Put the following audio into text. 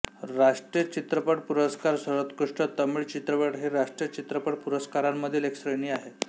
राष्ट्रीय चित्रपट पुरस्कार सर्वोत्कृष्ट तमिळ चित्रपट हि राष्ट्रीय चित्रपट पुरस्कारांमधील एक श्रेणी आहे